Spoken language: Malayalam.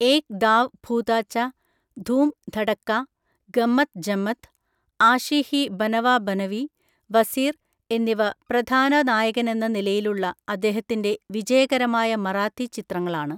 ഏക് ദാവ് ഭൂതാച്ച, ധൂം ധഡക്കാ, ഗമ്മത് ജമ്മത്, ആഷി ഹി ബനവ ബനവി, വസീർ എന്നിവ പ്രധാന നായകനെന്ന നിലയിലുള്ള അദ്ദേഹത്തിന്‍റെ വിജയകരമായ മറാത്തി ചിത്രങ്ങളാണ്.